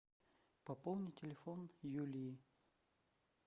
пополни телефон юлии